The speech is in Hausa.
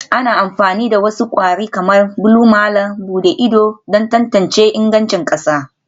Ana amfani da wasu kwari kamar blue malam buɗe ido don tantance ingancin ƙasa